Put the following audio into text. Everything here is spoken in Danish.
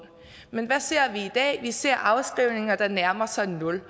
men hvad ser vi i dag vi ser afskrivninger der nærmer sig nul